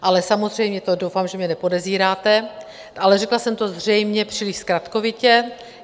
Ale samozřejmě to doufám, že mě nepodezíráte, ale řekla jsem to zřejmě příliš zkratkovitě.